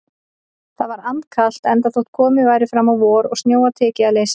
Það var andkalt, enda þótt komið væri fram á vor og snjóa tekið að leysa.